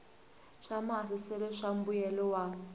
swa maasesele swa mbuyelo wa